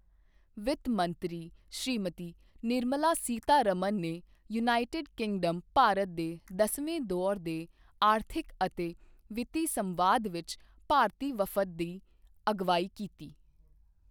ਵਿੱਤ ਮੰਤਰੀ ਸ਼੍ਰੀਮਤੀ ਨਿਰਮਲਾ ਸੀਤਾਰਮਣ ਨੇ ਯੂਨਾਈਟਿਡ ਕਿੰਗਡਮ ਭਾਰਤ ਦੇ 10ਵੇਂ ਦੌਰ ਦੇ ਆਰਥਿਕ ਅਤੇ ਵਿੱਤੀ ਸੰਵਾਦ ਵਿੱਚ ਭਾਰਤੀ ਵਫ਼ਦ ਦੀ ਅਗਵਾਈ ਕੀਤੀ